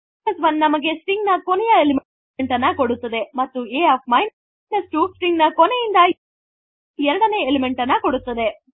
a 1 ನಮಗೆ string ನ ಕೊನೆಯ ಎಲಿಮೆಂಟ್ ಅನ್ನು ಕೊಡುತ್ತದೆ ಮತ್ತು a 2ಸ್ಟ್ರಿಂಗ್ ನ ಕೊನೆಯಿಂದ ಎರಡನೇ ಎಲಿಮೆಂಟ್ ಕೊಡುತ್ತದೆ